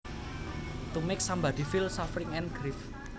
To make somebody feel suffering and grief